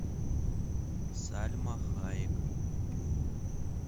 сальма хайек